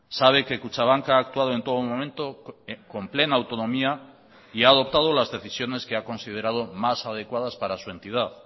sabe que kutxabank ha actuado en todo momento con plena autonomía y ha adoptado las decisiones que ha considerado más adecuadas para su entidad